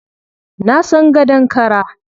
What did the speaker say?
Na san gadon kara.